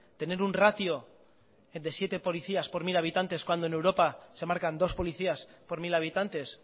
tener un ratio de siete policías por mil habitantes cuando en europa se marcan dos policías por mil habitantes